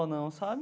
Não, sabe?